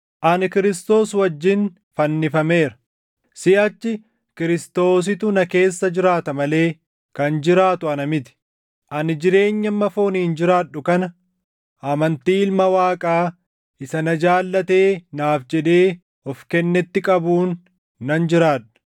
Ani Kiristoos wajjin fannifameera; siʼachi Kiristoositu na keessa jiraata malee kan jiraatu ana miti. Ani jireenya amma fooniin jiraadhu kana amantii Ilma Waaqaa isa na jaallatee naaf jedhee of kennetti qabuun nan jiraadha.